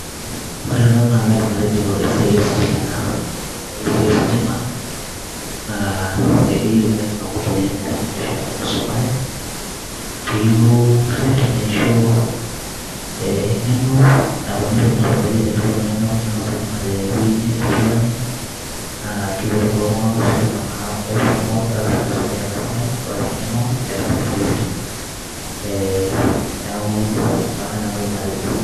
Ore ena kaidim atejo esiai ositima ena ore esiai ositima naa ekiyiue oleng batisho oltungani oisumare piyiolou arip neincho enkeno nalo meitobiri teneaku nai meetai ositima tewueji fulani na kipoti ltunganak lositima neaku esidai tenisumare engeno ositima ee neaku ina nai nanu aidim atejo.